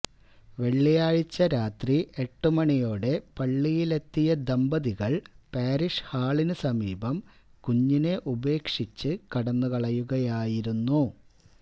വെള്ളിയാഴ്ച രാത്രി എട്ടുമണിയോടെ പള്ളിയിലെത്തിയ ദമ്പതികള് പാരിഷ് ഹാളിന് സമീപം കുഞ്ഞിനെ ഉപേക്ഷിച്ച് കടന്നു കളയുകയായിരുന്നു